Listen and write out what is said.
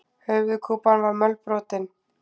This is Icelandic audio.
Höfuðkúpan var mölbrotin.